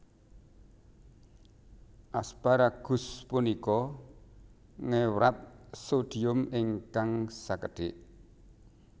Asparagus punika ngewrat sodium ingkang sekedhik